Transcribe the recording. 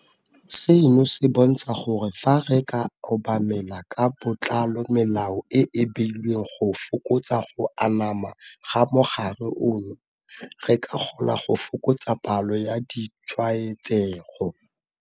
Seno se bontsha gore fa re ka obamela ka botlalo melao e e beilweng go fokotsa go anama ga mogare ono, re ka kgona go fokotsa palo ya ditshwaetsego.